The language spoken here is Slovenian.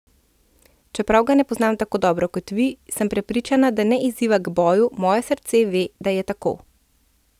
Čeprav ga ne poznam tako dobro kot vi, sem prepričana, da ne izziva k boju, moje srce ve, da je tako.